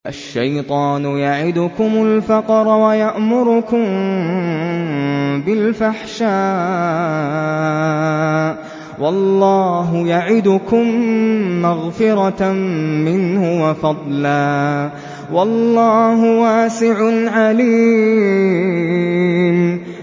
الشَّيْطَانُ يَعِدُكُمُ الْفَقْرَ وَيَأْمُرُكُم بِالْفَحْشَاءِ ۖ وَاللَّهُ يَعِدُكُم مَّغْفِرَةً مِّنْهُ وَفَضْلًا ۗ وَاللَّهُ وَاسِعٌ عَلِيمٌ